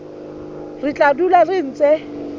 re tla dula re ntse